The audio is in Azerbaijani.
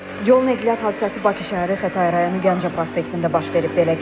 Yol nəqliyyat hadisəsi Bakı şəhəri Xətai rayonu Gəncə prospektində baş verib.